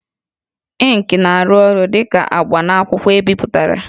Ịnkị na-arụ ọrụ dị ka agba n'akwụkwọ ebipụtara